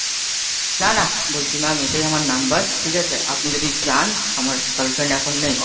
না না বলছি ma'am এটাই আমার number ঠিক আছে? আপনি যদি চান আমার girlfriend এখন নেই, ঠিক আছে?